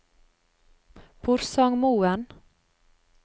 Porsangmoen